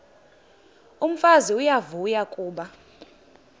umfazi uyavuya kuba